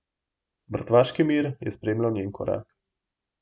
Mrtvaški mir je spremljal njen korak.